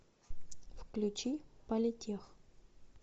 включи политех